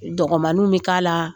Dɔgɔmaninw bɛ k'a la